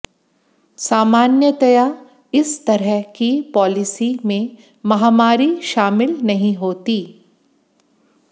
सामान्यतया इस तरह की पॉलिसी में महामारी शामिल नहीं होती